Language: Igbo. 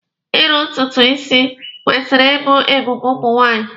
Iru ntutu isi kwesịrị ịbụ ebube ụmụ nwaanyị.